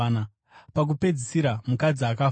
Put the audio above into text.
Pakupedzisira, mukadzi akafawo.